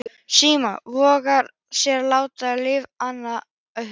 Símon vogaði sér að láta rifa í annað augað.